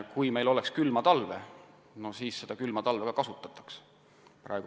Kui meil oleks külma talve, siis seda külma talve ka kasutataks.